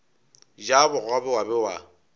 ja bogobe wa be wa